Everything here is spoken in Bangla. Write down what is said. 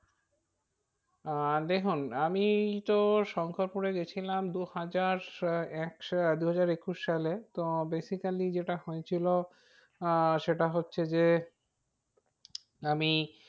আহ দেখুন আমি তো শঙ্করপুরে গিয়েছিলাম দু হাজার আহ এক সা~ দুহাজার একুশ সালে তো basically যেটা হয়েছিল আহ সেটা হচ্ছে যে আমি,